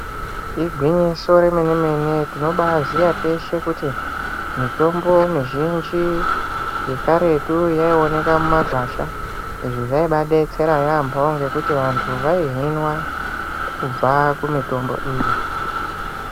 Igwinyiso remene-mene, tinobaziya teshe kuti mitombo mizhinji yekaretu yaioneka mumagwasha. Izvi zvaibadetsera yaambo ngekuti vantu vaihinwa kubva kumitombo iyi.